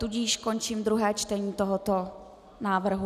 Tudíž končím druhé čtení tohoto návrhu.